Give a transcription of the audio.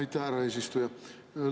Aitäh, härra eesistuja!